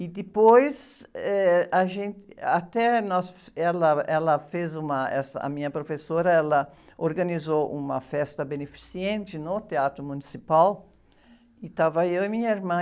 E depois eh, a gente, até, nós, ela, ela fez uma, essa, a minha professora, ela organizou uma festa beneficente no Theatro Municipal e estava eu e minha irmã.